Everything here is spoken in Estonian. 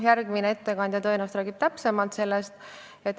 Järgmine ettekandja räägib tõenäoliselt sellest täpsemalt.